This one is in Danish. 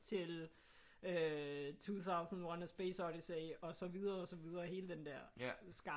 Til øh 2001: A Space Odyssey og så videre og så videre hele den der skare